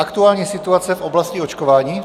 Aktuální situace v oblasti očkování?